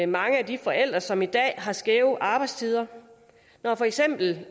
mange af de forældre som i dag har skæve arbejdstider når for eksempel